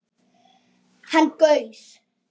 Hann gaus